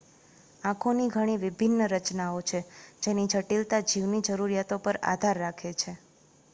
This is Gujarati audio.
આંખોની ઘણી વિભિન્ન રચનાઓ છે જેની જટિલતા જીવની જરૂરિયાતો પર આધાર રાખે છે